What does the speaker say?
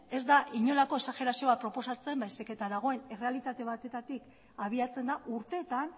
ez da inolako exagerazio bat proposatzen baizik eta dagoen errealitate batetatik abiatzen da urteetan